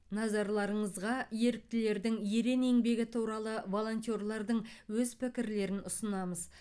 назарларыңызға еріктілердің ерен еңбегі туралы волонтерлардың өз пікірлерін ұсынамыз